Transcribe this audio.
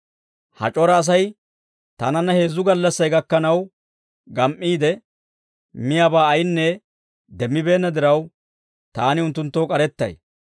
«Ha c'ora Asay taananna heezzu gallassay gakkanaw gam"iide, miyaabaa ayinne demmibeenna diraw, taani unttunttoo k'arettay.